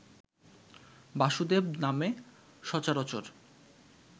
বাসুদেব নামে সচরাচর